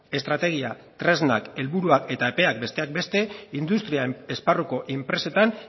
estrategia tresnak helburuak eta epea besteak beste industrial esparruko enpresetan